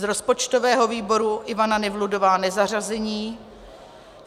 Z rozpočtového výboru Ivana Nevludová nezařazení.